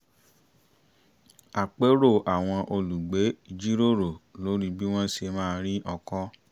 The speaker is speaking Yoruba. àpérò àwọn olùgbé jíròrò lórí bí wọ́n ṣe máa ri ọkọ